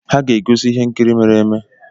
Ha ga-egosi ihe nkiri mere eme.